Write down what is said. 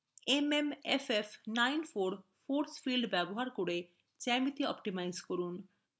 mmff94 force field ব্যবহার করে geometry optimize করা